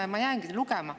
Ma võin jäädagi loetlema.